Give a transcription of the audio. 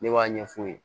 Ne b'a ɲɛ fu ye